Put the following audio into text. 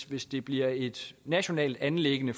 hvis det bliver et nationalt anliggende